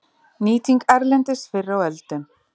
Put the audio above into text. Nýting erlendis fyrr á öldum